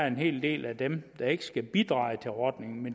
en hel del af dem der ikke skal bidrage til ordningen men